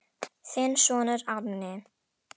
Þinn sonur Árni.